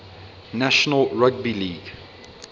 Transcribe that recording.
national rugby league